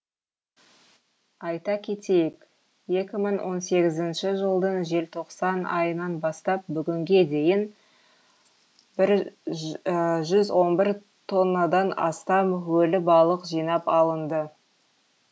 айта кетейік екі мың он сегізінші жылдың желтоқсан айынан бастап бүгінге дейін жүз он бір тоннадан астам өлі балық жинап алынды